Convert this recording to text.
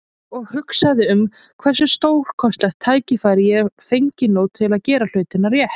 Og ég hugsaði um hversu stórkostlegt tækifæri ég fengi nú til að gera hlutina rétt.